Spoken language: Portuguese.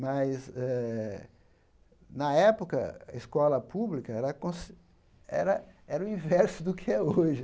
Mas eh, na época, a escola pública era consi era era o inverso do que é hoje.